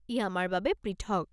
ই আমাৰ বাবে পৃথক!